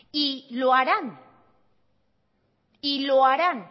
y lo harán y lo harán